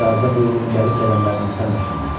İcazə buyurun gəlib qədəmlərinizdən öpsünlər.